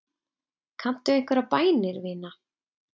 Kanntu einhverjar bænir, vina?